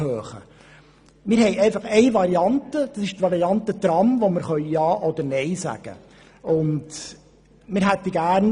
Es liegt uns eine Variante vor, nämlich die Variante Tram, zu welcher wir ja oder nein sagen können.